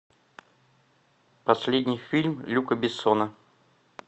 последний фильм люка бессона